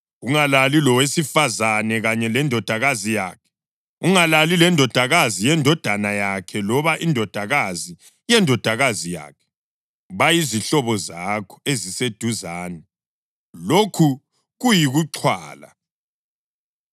Ungalali lowesifazane kanye lendodakazi yakhe. Ungalali lendodakazi yendodana yakhe loba indodakazi yendodakazi yakhe; bayizihlobo zakho eziseduzane. Lokhu kuyikuxhwala.